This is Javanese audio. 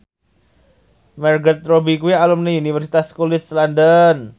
Margot Robbie kuwi alumni Universitas College London